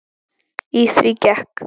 Í því gekk